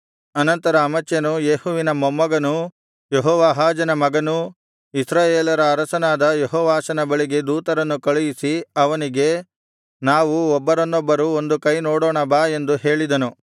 ಅನಂತರ ಅಮಚ್ಯನು ಯೇಹುವಿನ ಮೊಮ್ಮಗನೂ ಯೆಹೋವಾಹಾಜನ ಮಗನೂ ಇಸ್ರಾಯೇಲರ ಅರಸನಾದ ಯೆಹೋವಾಷನ ಬಳಿಗೆ ದೂತರನ್ನು ಕಳುಹಿಸಿ ಅವನಿಗೆ ನಾವು ಒಬ್ಬರನ್ನೊಬ್ಬರು ಒಂದು ಕೈ ನೋಡೋಣ ಬಾ ಎಂದು ಹೇಳಿದನು